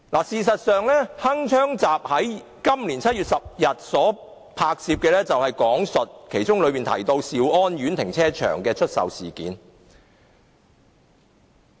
事實上，"鏗鏘集"於今年7月10日拍攝的節目中提到兆安苑停車場的出售事件。